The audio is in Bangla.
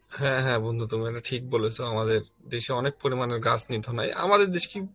হ্যাঁ হ্যাঁ বন্ধু তুমি মানে ঠিক বলেছ আমাদের দেশে অনেক পরিমান গাছ নিধন হয় আমাদের দেশ কি